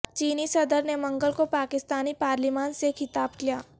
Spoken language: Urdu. چینی صدر نے منگل کو پاکستانی پارلیمان سے خطاب کیا